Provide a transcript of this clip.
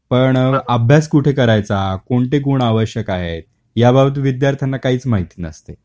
पण अभ्यास कुठे करायचा, कोणते गुण आवश्यक आहेत, याबाबत विद्यार्थ्यांना काहीच माहिती नसते.